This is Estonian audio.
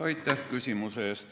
Aitäh küsimuse eest!